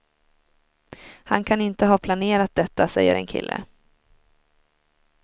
Han kan inte ha planerat detta, säger en kille.